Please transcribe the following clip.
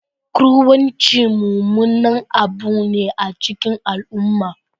Kruwanci mummunan abu ne a cikin al'umma